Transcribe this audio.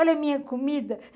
Olha a minha comida.